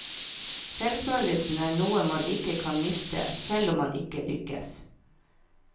Selvfølelsen er noe man ikke kan miste, selv om man ikke lykkes.